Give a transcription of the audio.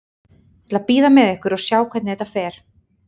Ég ætla að bíða með ykkur og sjá hvernig þetta fer.